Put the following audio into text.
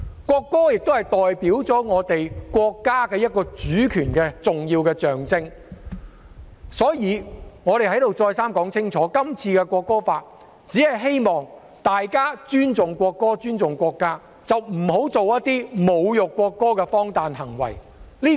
國歌亦是代表我們國家主權的一個重要象徵，所以我在此再三說明，《條例草案》只是希望大家尊重國歌及尊重國家，不要做一些侮辱國歌的荒誕行為。